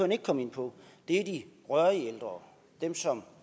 ikke kom ind på er de rørige ældre dem som